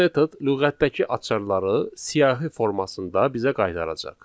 Bu metod lüğətdəki açarları siyahı formasında bizə qaytaracaq.